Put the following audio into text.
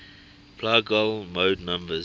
plagal mode numbers